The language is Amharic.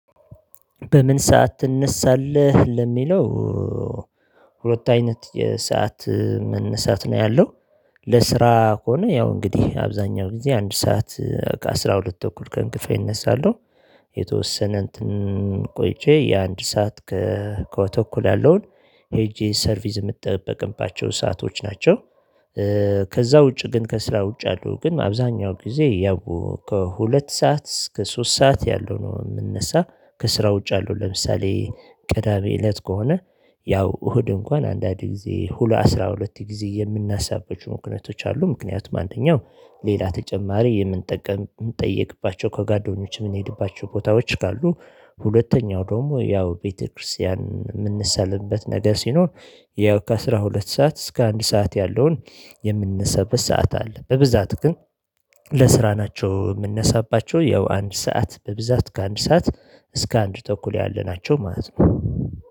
በምን ሰዓት ትነሳለህ ለሚለው? ሁለት አይነት የሰዓት መነሳት ነው ያለው። ለስራ ከሆነ ያው እንግዲህ አብዛኛው ጊዜ አንድ ሰዓት ከአሥራ ሁለት ተኩል ቀን ክፍል እነሳለሁ። የተወሰነ ቆይቼ የአንድ ሰዓት ከተኩል ያለውን ሄጄ ሰርቪስ የምትጠብቅባቸው ሰአቶች ናቸው። ከዛ ውጪ ግን ከስራ ውጪ ያሉ ግን አብዛኛው ጊዜ ያው ከሁለት ሰዓት እስከ ሶስት ሰዓት ያለው ነው። የምንነሳ ከስራ ውጭ አለው ለምሳሌ ቀዳሜ እለት ከሆነ ያው እሁድ እንኳን አንዳንዴ ጊዜ ሁለ አስራ ሁለት ጊዜ የምናሳበት ምክንያቶች አሉ። ምክንያቱም አንደኛው ሌላ ተጨማሪ የምንጠቀም የምንጠየቅባቸው ከጓደኞች የምንሄድባቸው ቦታዎች ካሉ። ሁለተኛው ደግሞ ያው ቤተክርስቲያን ሚንሳለምበት ነገር ሲኖር ያው ከአሥራ ሁለት ሰዓት እስከ አንድ ሰዓት ያለውን የምንነሳበት ሰዓት አለ። በብዛት ግን። ለስራ ናቸው የምንነሳባቸው ያው አንድ ሰዓት በብዛት ከአንድ ሰዓት እስከ አንድ ተኩል ያለ ናቸው ማለት ነው